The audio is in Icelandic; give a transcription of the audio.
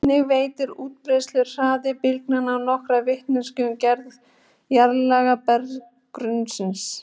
Einnig veitir útbreiðsluhraði bylgnanna nokkra vitneskju um gerð jarðlaga berggrunnsins.